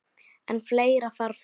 En fleira þarf til.